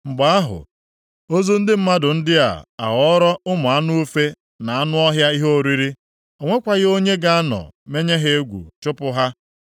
Mgbe ahụ, ozu ndị mmadụ ndị a ga-aghọrọ ụmụ anụ ufe na anụ ọhịa ihe oriri. O nwekwaghị onye ga-anọ menye ha egwu chụpụ ha.